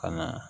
Ka na